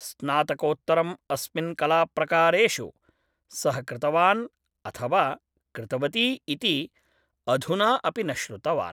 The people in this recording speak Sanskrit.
स्नातकोत्तरम् अस्मिन् कलाप्रकारेषु सः कृतवान् अथवा कृतवती इति अधुना अपि न श्रुतवान्